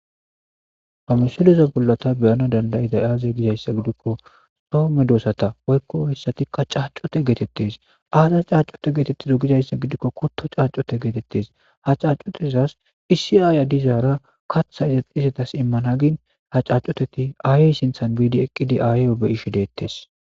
Ha misilezza bola ta be7anas danda7iday azze gizaysa giko soo medosata woykko cacute getetes aza cacute gizaysa giko kuto cacute getetes ha cacutezas issi aya dizzara kaththa izetas imana gin ha cacuteti ayen sinthan ekidi ayo be7eshe dettes